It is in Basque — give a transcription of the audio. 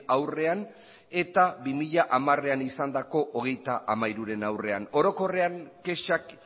aurrean eta bi mila hamarean izandako hogeita hamairuren aurrean orokorrean kexak